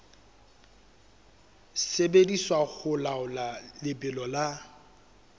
sebediswa ho laola lebelo la